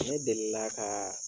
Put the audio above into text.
Ne delila ka